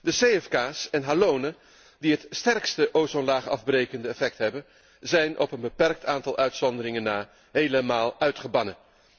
De cfk's en halonen die het sterkste ozonlaagafbrekend effect hebben, zijn op een beperkt aantal uitzonderingen na helemaal uitgebannen.